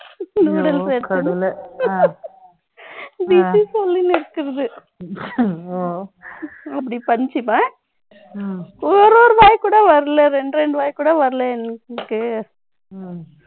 noodles சொல்லின்னு இருக்குறது. ஆங் அப்படி punch அ. ஒரு ஒரு ரூபாய் கூட வரலை. இரண்டு, இரண்டு ரூபாய் கூட வரலை எங்களுக்கு